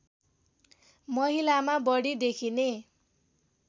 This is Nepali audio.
महिलामा बढी देखिने